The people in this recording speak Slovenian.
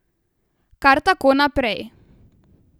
Kar tako naprej.